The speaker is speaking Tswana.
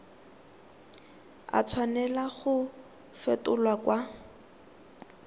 a tshwanela go fetolwa kwa